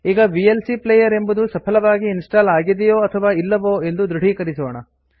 ಈಗ VLC player ಎಂಬುದು ಸಫಲವಾಗಿ ಇನ್ಸ್ಟಾಲ್ ಆಗಿದೆಯೋ ಅಥವಾ ಇಲ್ಲವೋ ಎಂದು ದೃಢೀಕರಿಸೋಣ